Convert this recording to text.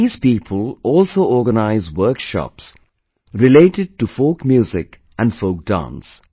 These people also organize workshops related to folk music and folk dance